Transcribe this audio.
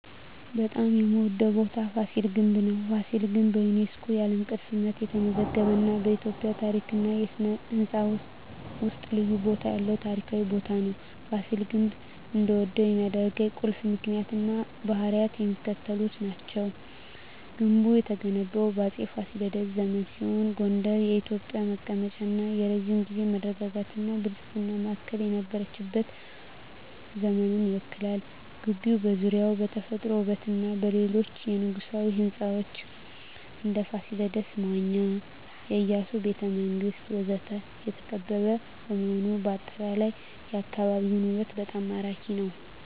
በጣም የምዎደው ቦታ ፋሲል ግንብ ነው። ፋሲል ግንብ በዩኔስኮ የዓለም ቅርስነት የተመዘገበ እና በኢትዮጵያ ታሪክ እና ሥነ ሕንፃ ውስጥ ልዩ ቦታ ያለው ታሪካዊ ቦታ ነው። ፋሲል ግንብ እንድወደው ከሚያደርኝ ቁልፍ ምክንያቶች እና ባህሪያት የሚከተሉት ናቸው። ግንቡ የተገነባው በአፄ ፋሲለደስ ዘመን ሲሆን ጎንደር የኢትዮጵያ መቀመጫ እና የረጅም ጊዜ መረጋጋትና ብልጽግና ማዕከል የነበረችበትን ዘመን ይወክላል። ግቢው ዙሪያውን በተፈጥሮ ውበትና በሌሎች የንጉሣዊ ሕንፃዎች (እንደ ፋሲል መዋኛ፣ የኢያሱ ቤተ መንግስት ወዘተ) የተከበበ በመሆኑ አጠቃላይ የአካባቢው ውበት በጣም ማራኪ ነው። …